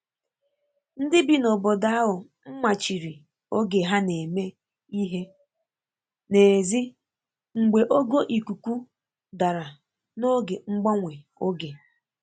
Ndị bi n’obodo ahụ mmachiri oge ha na-eme ihe n'èzí mgbe ogo ikuku dara n’oge mgbanwe oge.